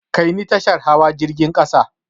Kai ni tashar hawa jirgin ƙasa!